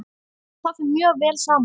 Það fer mjög vel saman.